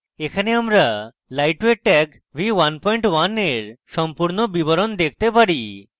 এখানে আমরা lightweight tag v11 এর সম্পূর্ণ বিবরণ দেখতে পারি